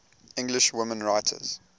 english women writers